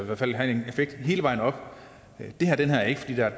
hvert fald have en effekt hele vejen op det har den her ikke fordi der er